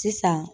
Sisan